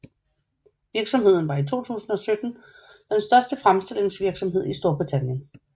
Virksomheden var i 2017 den største fremstillingsvirksomhed i Storbritannien